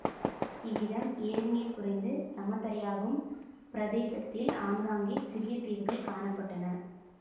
இவ்விதம் ஏரி நீர் குறைந்து சம தரையாகும் பிரதேசத்தில் ஆங்காங்கே சிறிய தீவுகள் காண பட்டன